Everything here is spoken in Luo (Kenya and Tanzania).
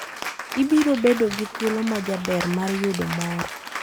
Ibiro bedo gi thuolo majaber mar yudo mor.